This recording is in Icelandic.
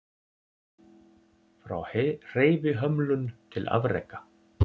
Frá hreyfihömlun til afreka